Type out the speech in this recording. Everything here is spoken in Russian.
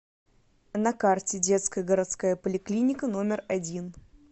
на карте детская городская поликлиника номер один